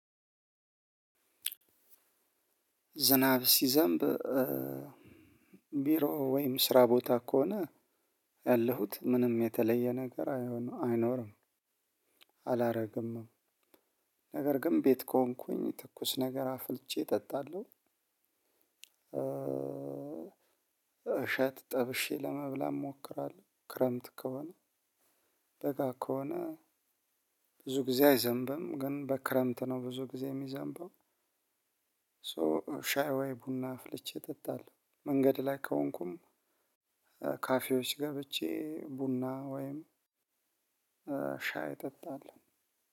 ዝናብ ሲዘንብ ቢሮ ወይም ስራ ቦታ ከሆነ ያለሁት ምንም የተለየ ነገር አይሆንም አይኖርም። አላረግም። ነገር ግን ቤት ከሆንኩኝ ትኩስ ነገር አፍልቸ እጠጣለሁ። እሸት ጠብሼ ለመብላት እሞክራለሁ። ክረምት ከሆነ በጋ ከሆነ ብዙ ጊዜ አይዘንብም ግን በክረምት ነው ብዙ ጊዜ የሚዘንበው። ሶ ሻይ ወይ ቡና አፍልቼ እጠጣለሁ። መንገድ ላይ ከሆንኩም ካፌዎች ገብቼ ቡና ወይም ሻይ እጠጣለሁ።